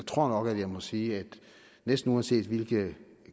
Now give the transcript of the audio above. tror nok at jeg må sige at næsten uanset hvilke